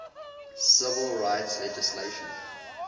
civil rights legislation